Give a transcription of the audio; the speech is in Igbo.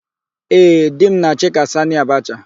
Ee, di m na-achị ka Sanị Abacha.